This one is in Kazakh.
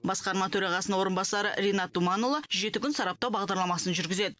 басқарма төрағасының орынбасары ринат думанұлы жеті күн сараптау бағдарламасын жүргізеді